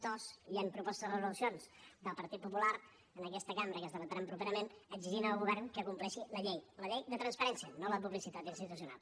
dos hi han propostes de resolucions del partit popular en aquesta cambra que es debatran properament que exigeixen al govern que compleixi la llei la llei de transparència no la publicitat institucional